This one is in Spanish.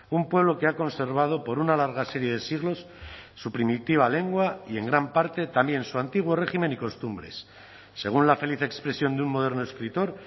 un pueblo que ha conservado por una larga serie de siglos su primitiva lengua y en gran parte también su antiguo régimen y costumbres según la feliz expresión de un moderno escritor